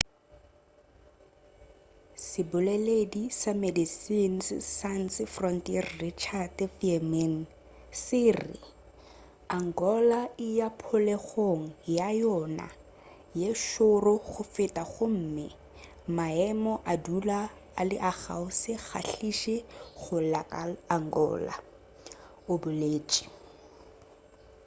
seboleledi sa medecines sans frontiere richard veerman se re angola e ya phulegong ya yona ye šoro go feta gomme maemo a dula e le a go se kgahliše go la angola o boletše